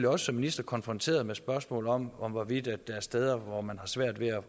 også som minister konfronteret med spørgsmålet om om hvorvidt der er steder hvor man har svært ved at